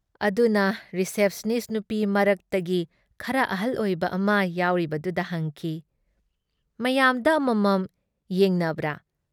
ꯑꯗꯨꯅ ꯔꯤꯁꯦꯞꯁꯅꯤꯁ ꯅꯨꯄꯤ ꯃꯔꯛꯇꯒꯤ ꯈꯔ ꯑꯍꯜ ꯑꯣꯏꯕ ꯑꯃ ꯌꯥꯎꯔꯤꯕꯗꯨꯗ ꯍꯪꯈꯤ- "ꯃꯌꯥꯝꯗ ꯑꯃꯃꯝ ꯌꯦꯡꯅꯕ꯭ꯔꯥ?'"